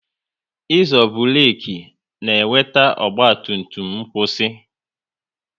Ịzo burek na-eweta ọgba tum tum n'kwusi